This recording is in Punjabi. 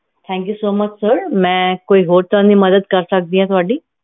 thankyousomuchsir ਹੋਰ ਕਿਸ ਤਰ੍ਹਾਂ ਦੀ ਮਦਦ ਕਰ ਸਕਦੀ ਆ ਤੁਹਾਡੀ